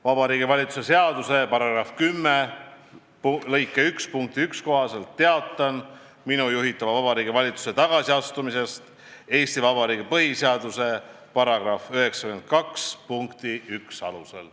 Vabariigi Valitsuse seaduse § 10 lõike 1 punkti 1 kohaselt teatan minu juhitava Vabariigi Valitsuse tagasiastumisest Eesti Vabariigi põhiseaduse § 92 punkti 1 alusel.